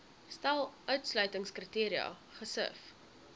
stel uitsluitingskriteria gesif